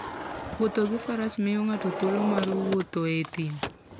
Wuoth gi faras miyo ng'ato thuolo mar wuotho e thim.